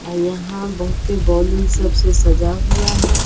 और यहाँ बहुत ही बैलून सब से सजा हुआ हैं।